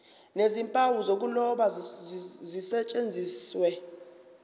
nezimpawu zokuloba zisetshenziswe